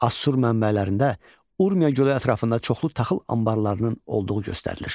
Assur mənbələrində Urmiya gölü ətrafında çoxlu taxıl anbarlarının olduğu göstərilir.